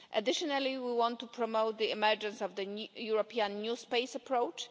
Additionally, we want to promote the emergence of the European new space' approach.